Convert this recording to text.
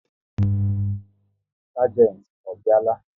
Sagenti ọ bịa la?